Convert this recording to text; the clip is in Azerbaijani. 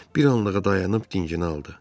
Bir anlığa dayanıb dincini aldı.